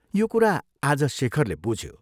यो कुरा आज शेखरले बुझ्यो।